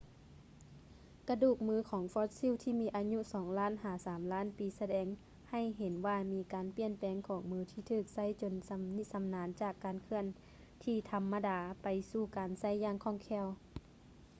ກະດູກມືຂອງຟອດຊິວທີ່ມີອາຍຸສອງລ້ານ ຫາ ສາມລ້ານປີສະແດງໃຫ້ເຫັນວ່າມີການປ່ຽນແປງຂອງມືທີ່ຖືກໃຊ້ຈົນຊຳນິຊຳນານຈາກການເຄື່ອນທີ່ທຳມະດາໄປສູ່ການໃຊ້ຢ່າງຄ່ອງແຄ້ວ